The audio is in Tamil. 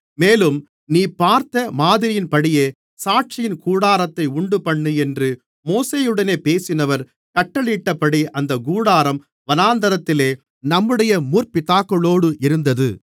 மேலும் நீ பார்த்த மாதிரியின்படியே சாட்சியின் கூடாரத்தை உண்டுபண்ணு என்று மோசேயுடனே பேசினவர் கட்டளையிட்டபடி அந்தக் கூடாரம் வனாந்திரத்திலே நம்முடைய முற்பிதாக்களோடு இருந்தது